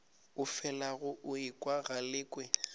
o felago o ekwa galekwe